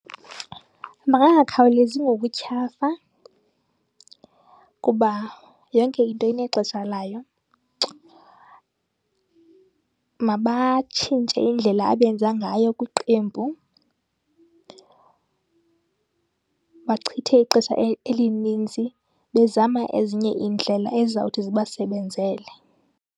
Mabangakhawulezi ngokutyhafa kuba yonke into inexesha layo. Mabatshintshe indlela abenza ngayo kwiqembu, bachithe ixesha elininzi bezama ezinye iindlela ezizawuthi zibasebenzele.